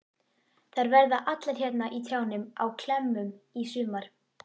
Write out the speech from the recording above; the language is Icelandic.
Þær verða allar hérna í trjánum á klemmum í sumar.